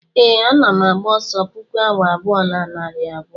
ee, ana m agba ọsọ puku awa abụọ na narị abụọ